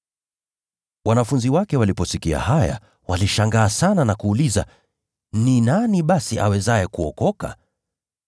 Wanafunzi wake waliposikia haya, walishangaa sana na kuuliza, “Ni nani basi awezaye kuokoka?”